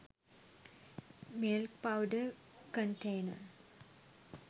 milk powder container